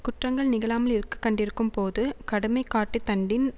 குற்றங்கள் நிகழாமல் இருக்க கண்டிக்கும்போது கடுமை காட்டு தண்டின்